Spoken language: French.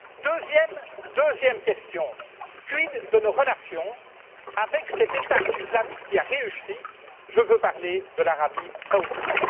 Deuxièmement, quid de nos relations avec cet État islamique qui a réussi je veux parler de l'Arabie Saoudite.